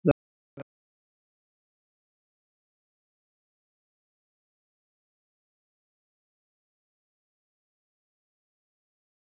Hvernig hann ætlaði að koma orðum að því sem hann var að hugsa.